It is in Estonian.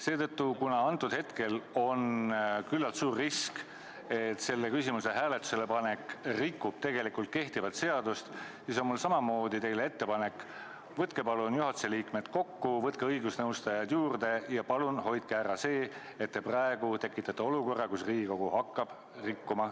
Seetõttu, kuna antud hetkel on üsna suur risk, et selle küsimuse hääletusele panek rikub kehtivat seadust, siis on mul teile ettepanek: kutsuge palun juhatuse liikmed kokku, võtke õigusnõustajad juurde ja palun hoidke ära see, et tekitataks olukord, kus Riigikogu hakkab seadust rikkuma.